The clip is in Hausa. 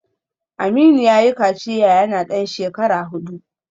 Aminu yayi kaciya yana dan shekara hudu